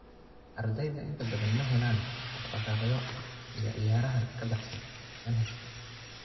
Ardayda inta badan ma helaan dhaqdhaqaaqyo iyo ciyaaraha ka baxsan manhajka.